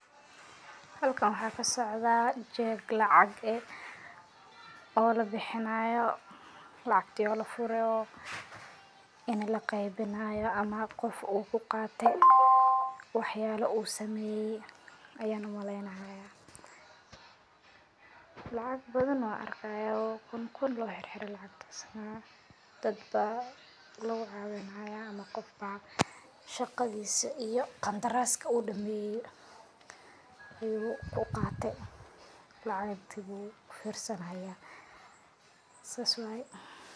Halkaan waxa kaa socdaa jeeg lacaag eeh oo laa bixiinayo lacagtii walaa fuure inii laa qeybiinayo ama qof uu kuu qaate wax yalaa uu sameyee ayan uu maleynaaya. lacaag baadana arkaaya kuun kuun loo xirxiire lacagtaasna daadba lagaa qadaan haaya ama qoof baa shaqadiisa iyo qandaraaska uu dameeye ayu kuu qaate lacagtii buu firsaani haaya saas waaye.